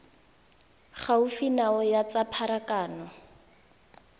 gaufi nao ya tsa pharakano